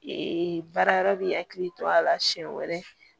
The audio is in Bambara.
baara yɔrɔ bi hakili to a la siɲɛ wɛrɛ